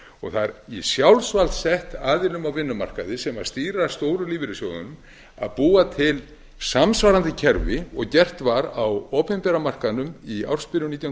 og það er í sjálfsvald sett aðilum á vinnumarkaði sem stýra stóru lífeyrissjóðunum að búa til samsvarandi kerfi og gert var á opinbera markaðnum í ársbyrjun nítján